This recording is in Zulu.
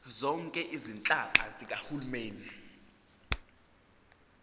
zonke izinhlaka zikahulumeni